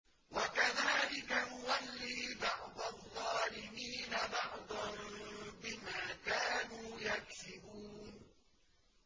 وَكَذَٰلِكَ نُوَلِّي بَعْضَ الظَّالِمِينَ بَعْضًا بِمَا كَانُوا يَكْسِبُونَ